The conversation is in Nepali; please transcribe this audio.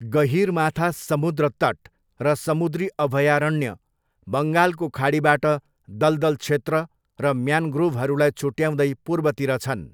गहिरमाथा समुद्र तट र समुद्री अभयारण्य, बङ्गालको खाडीबाट दलदल क्षेत्र र म्यानग्रोभहरूलाई छुट्ट्याउँदै पूर्वतिर छन्।